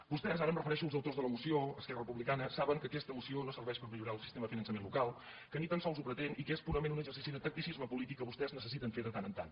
vostès ara em refereixo als autors de la moció esquerra republicana saben que aquesta moció no serveix per millorar el sistema de finançament local que ni tan sols ho pretén i que és purament un exercici de tacticisme polític que vostès necessiten fer de tant en tant